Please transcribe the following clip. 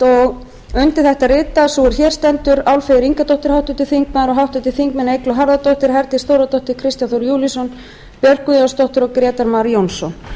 og undir þetta rita sú er hér stendur álfheiður ingadóttir háttvirtur þingmaður og háttvirtir þingmenn eygló harðardóttir herdís þórðardóttir kristján þór júlíusson björk guðjónsdóttir og grétar mar jónsson